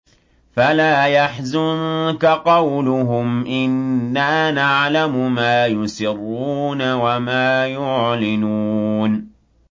فَلَا يَحْزُنكَ قَوْلُهُمْ ۘ إِنَّا نَعْلَمُ مَا يُسِرُّونَ وَمَا يُعْلِنُونَ